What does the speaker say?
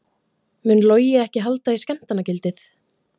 Mun Logi ekki halda í skemmtanagildið?